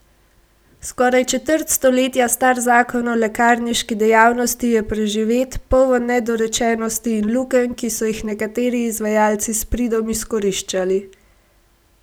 Skoraj četrt stoletja star zakon o lekarniški dejavnosti je preživet, poln nedorečenosti in lukenj, ki so jih nekateri izvajalci s pridom izkoriščali.